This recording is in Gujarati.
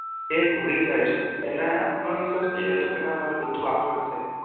એ ભૂલી જાય છે એને આત્મવિશ્વાસ ને ઈ તો ના મને આખું આવડશે